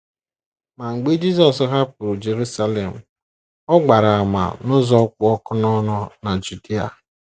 Mgbe Jisọs hapụrụ Jerusalem, ọ gbara àmà n’ụzọ kpụ ọkụ n’ọnụ na Judia.